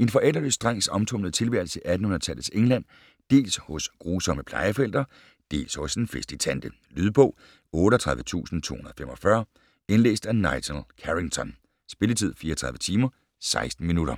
En forældreløs drengs omtumlede tilværelse i 1800-tallets England dels hos grusomme plejeforældre dels hos en festlig tante. Lydbog 38245 Indlæst af Nigel Carrington Spilletid: 34 timer, 16 minutter